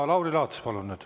Ja Lauri Laats, palun nüüd.